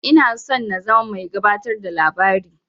Ina son in zama mai gabatar da labari.